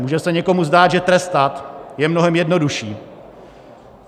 Může se někomu zdát, že trestat je mnohem jednodušší.